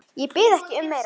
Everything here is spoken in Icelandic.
Ég bið ekki um meira.